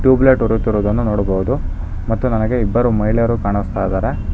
Tube light ಉರಿಯುತ್ತಿರುವುದನ್ನು ನೋಡಬಹುದು ಮತ್ತು ನನಗೆ ಇಬ್ಬರು ಮಹಿಳೆಯರು ಕಾಣಿಸ್ತಾ ಇದ್ದಾರೆ.